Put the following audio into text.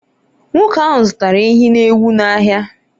nwoke ahụ zụtara ehi na ewu n’ahịa